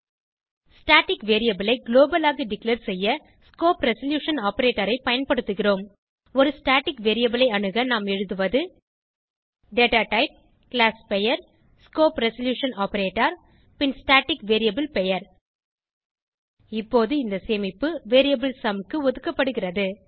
static variable ஐ global ஆக declare செய்ய ஸ்கோப் ரெசல்யூஷன் ஆப்பரேட்டர் ஐ பயன்படுத்துகிறோம் ஒரு ஸ்டாட்டிக் வேரியபிள் ஐ அணுக நாம் எழுதுவது டேட்டாடைப் classபெயர் ஸ்கோப் ரெசல்யூஷன் ஆப்பரேட்டர் பின் ஸ்டாட்டிக் வேரியபிள் பெயர் இப்போது இந்த சேமிப்பு வேரியபிள் சும் க்கு ஒதுக்கப்படுகிறது